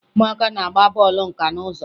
Ụmụaka na-agba bọọlụ nka n'ụzọ